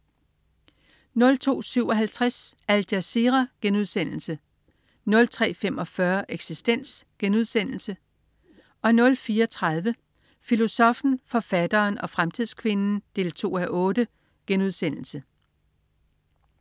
02.57 Al Jazeera* 03.45 Eksistens* 04.30 Filosoffen, forfatteren og fremtidskvinden 2:8*